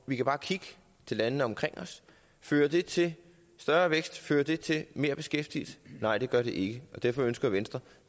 vi kan bare kigge til landene omkring os fører det til større vækst fører det til mere beskæftigelse nej det gør det ikke derfor ønsker venstre